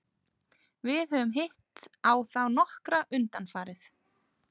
Við höfum hitt á þá nokkra undanfarið.